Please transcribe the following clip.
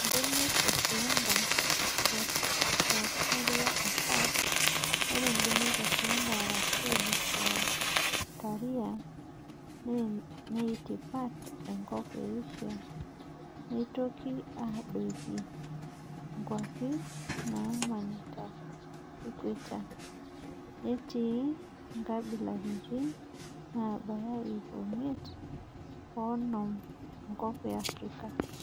Mbenek e slender( Crotlaria ssp.): Ore mbenek e slender arashu Crotalaria neitipat enkop e Asia neitoki adoiki kwapii naamanita equetor, netii nkabilaritin nabaya iip miet oonom tenkop e Afrika.